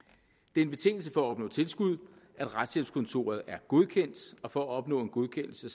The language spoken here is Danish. det er en betingelse for at opnå tilskud at retshjælpskontoret er godkendt og for at opnå en godkendelse